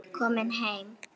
Komin heim?